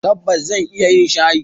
Tabbas zan iya yin shayi.